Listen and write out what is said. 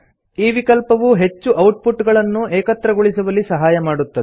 ಈ ವಿಕಲ್ಪವು ಹೆಚ್ಚು ಔಟ್ ಪುಟ್ ಗಳನ್ನು ಏಕತ್ರಗೊಳಿಸುವಲ್ಲಿ ಸಹಾಯ ಮಾಡುತ್ತದೆ